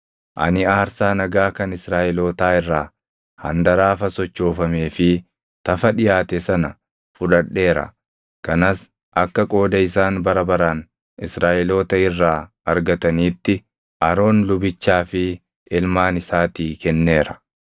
Ani aarsaa nagaa kan Israaʼelootaa irraa handaraafa sochoofamee fi tafa dhiʼaate sana fudhadheera; kanas akka qooda isaan bara baraan Israaʼeloota irraa argataniitti Aroon lubichaa fi ilmaan isaatii kenneera.’ ”